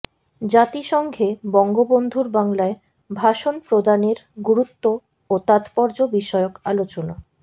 জাতিসংঘে বঙ্গবন্ধুর বাংলায় ভাষণ প্রদানের গুরুত্ব ও তাৎপর্য বিষয়ক আলোচনা